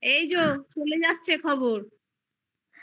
এই তো চলে যাচ্ছে খবর